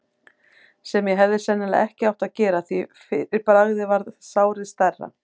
sem ég hefði sennilega ekki átt að gera, því fyrir bragðið varð sárið stærra.